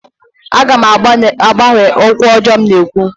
Aga m agbanwe okwu ọjọọ m na-ekwu